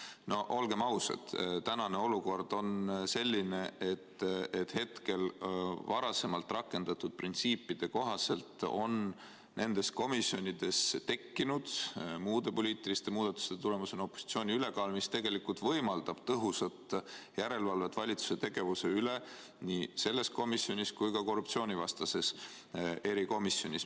No olgem ausad, tänane olukord on selline, et hetkel varasemalt rakendatud printsiipide kohaselt on nendes komisjonides tekkinud muude poliitiliste muudatuste tulemusena opositsiooni ülekaal, mis tegelikult võimaldab tõhusat järelevalvet valitsuse tegevuse üle nii selles komisjonis kui ka korruptsioonivastases erikomisjonis.